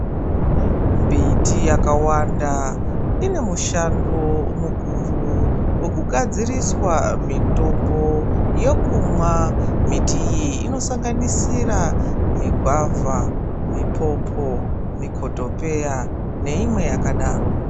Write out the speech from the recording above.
Mbiti yakawanda inemishando mukuru yekugadziriswa mitombo yekumwa. Mbiti iyi inosanganisira migwavha, mipopo, mikhothopeya, neimwe yakadaro.